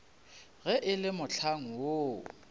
ge e le mohlang woo